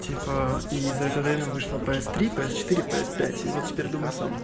типа и за это время вышло пс три пс четыре пс пять и вот теперь думай сам